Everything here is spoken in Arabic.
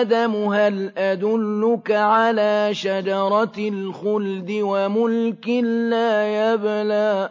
آدَمُ هَلْ أَدُلُّكَ عَلَىٰ شَجَرَةِ الْخُلْدِ وَمُلْكٍ لَّا يَبْلَىٰ